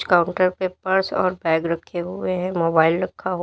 counter पे purse और bag रखे हुए हैं मोबाइल रखा हो--